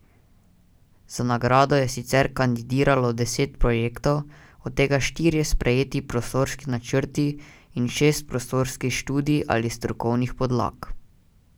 Za nagrado je sicer kandidiralo deset projektov, od tega štirje sprejeti prostorski načrti in šest prostorskih študij ali strokovnih podlag.